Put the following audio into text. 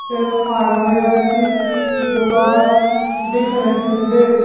एक हार्डवेयर कीदुकान दिख रही है।